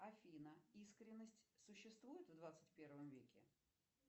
афина искренность существует в двадцать первом веке